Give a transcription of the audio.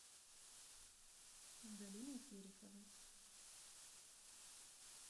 галиной тереховой